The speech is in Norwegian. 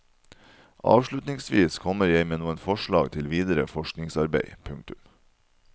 Avsluttningsvis kommer jeg med noen forslag til videre forskningsarbeid. punktum